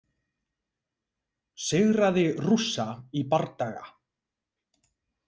Sigraði Rússa í bardaga